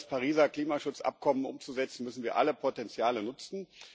Um das Pariser Klimaschutzabkommen umzusetzen, müssen wir alle Potenziale nutzen.